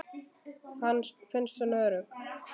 Finnst hún örugg.